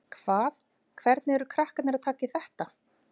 Hvað, hvernig eru krakkarnir að taka í þetta?